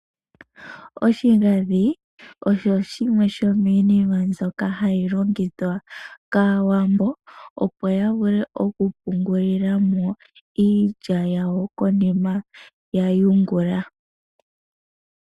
Oshigandhi osho shimwe shomiinima mbyoka hayi longithwa kAawambo, opo ya vule okupungulila mo iilya yawo konima ya yungula.